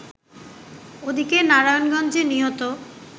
ওদিকে নারায়ণগঞ্জে নিহত